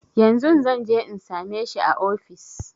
Yanzun zanje in same shi a ofis